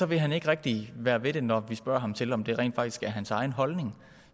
vil han ikke rigtig være ved det når vi spørger ham til om det rent faktisk er hans egen holdning